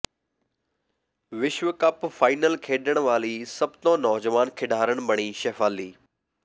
ਵਿਸ਼ਵ cup final ਖੇਡਣ ਵਾਲੀ ਸਭ ਤੌਂ ਨੌਜਵਾਨ ਖਿਡਾਰਨ ਬਣੀ ਸ਼ੇਫਾਲੀ